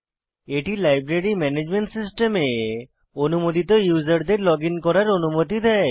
এটি library management সিস্টেমে অনুমোদিত ইউসারদের লগইন করার অনুমতি দেয়